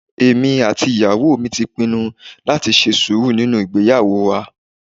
Èmi àti ìyàwó mi ti pinnu láti ṣe sùúrù nínú ìgbéyàwó wa